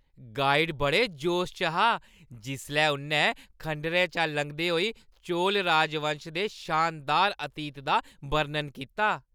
Guide बड़े जोश च हा जिसलै उʼन्नै खंडरें चा लंघदे होई चोल राजवंश दे शानदार अतीत दा बर्णन कीता।